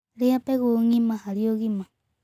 Rĩa mbegũ ngĩma harĩ ũgima